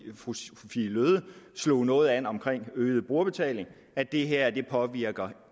fru sophie løhde slog noget an om øget brugerbetaling at det her ikke påvirker